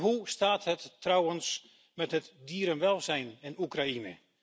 Hoe staat het trouwens met het dierenwelzijn in Oekraïne?